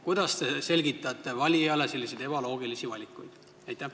Kuidas te selgitate valijale selliseid ebaloogilisi valikuid?